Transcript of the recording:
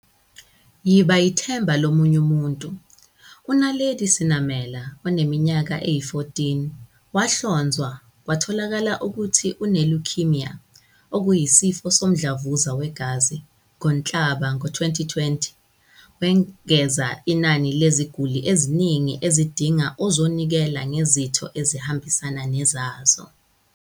Yiba yithemba lo munye umuntu. U-Naledi Senamela, oneminyaka eyi-14, wahlonzwa kwatholakala ukuthi une-leukaemia, okuyisifo somdlavuza wegazi, ngoNhlaba kowezi-2020. Wengeza inani leziguli eziningi ezidinga ozonikela ngezitho ezihambisana nezazo.